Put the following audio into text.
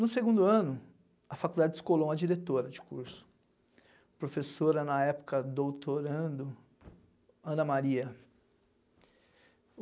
No segundo ano, a faculdade descolou uma diretora de curso, professora na época doutorando, Ana Maria.